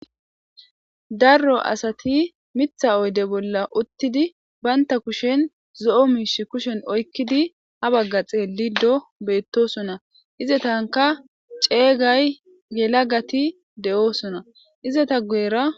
Darro asati mitha oyde bolla uttidi baynta kushen zoo miish kushen oykkidi ha bagga xeelli do beettosona ize tanka ceeygay yela gati de7oosona ize ta guyera.